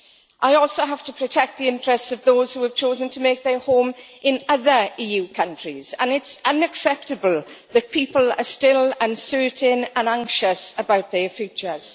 I also have to protect the interests of those who have chosen to make their home in other EU countries and it is unacceptable that people are still uncertain and anxious about their futures.